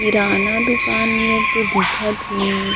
किराना दुकान नियर तो दिखा थे।